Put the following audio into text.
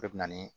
O de bɛ na ni